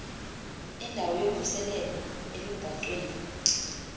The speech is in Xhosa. indawo yokhuseleko elubhacweni